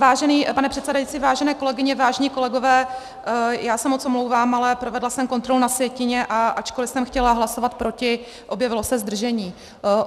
Vážený pane předsedající, vážené kolegyně, vážení kolegové, já se moc omlouvám, ale provedla jsem kontrolu na sjetině, a ačkoli jsem chtěla hlasovat proti, objevilo se zdržení.